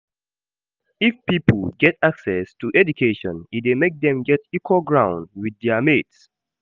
If pipo get access to education e de make dem get equal ground with their mates